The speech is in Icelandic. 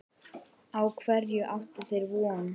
Á hverju áttu þeir von?